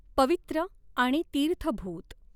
पवित्र आणि तीर्थभूत।